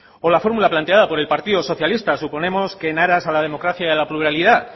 o la fórmula planteada por el partido socialista suponemos que en aras a la democracia y a la pluralidad